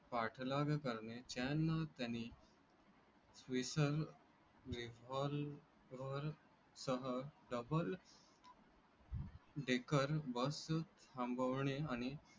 पाठलावे करणे चैन त्याने विसल सह double dekar bus थांबवणे आणि.